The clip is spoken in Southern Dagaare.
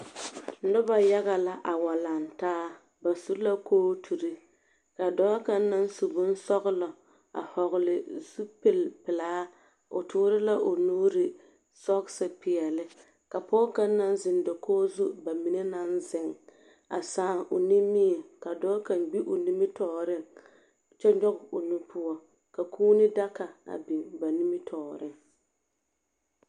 Noba yaga la a wa laŋ taa. Ba su la kooturi ka dɔɔ kaŋa naŋ su bonsɔglɔ a hɔgle zupilpelaa, o toore la o nuuri sɔgese peɛle, ka pɔge kaŋ naŋ zeŋ dakogi zu ba mine naŋ zeŋ a sãã o nimie ka dɔɔ kaŋ gbi o nimitɔɔreŋ kyɛ nyɔge o nu poɔ, ka kuuni daga a biŋ ba nimitɔɔreŋ.